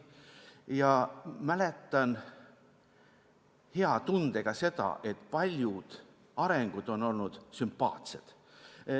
Ja mäletan hea tundega seda, et paljud arengusuunad on olnud sümpaatsed.